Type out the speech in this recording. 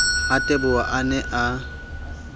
ha teboho a ne a